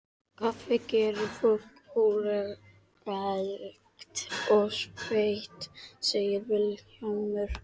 Kaffi gerir fólk órólegt og sveitt, segir Vilhjálmur.